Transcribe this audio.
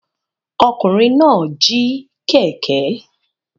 Ọkùnrin náà jí kẹ̀kẹ́.